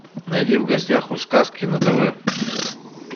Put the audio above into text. найди в гостях у сказки на тв